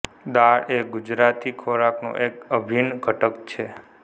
દાળ એ ગુજરાતી ખોરાકનો એક અભિન્ન ઘટક છે